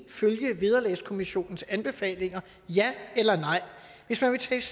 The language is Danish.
følge vederlagskommissionens anbefalinger ja eller nej hvis man vil tages